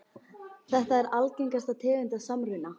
Þetta er algengasta tegund af samruna.